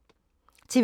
TV 2